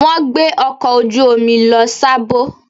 Wọ́n gbé ọkọ̀ ojú omi lọ Sábó.